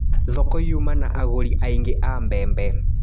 Thoko yuma na agũri aingĩ a mbembe.